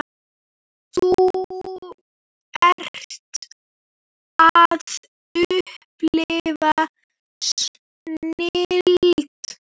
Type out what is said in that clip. Þú ert að upplifa snilld.